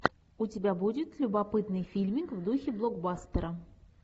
у тебя будет любопытный фильмик в духе блокбастера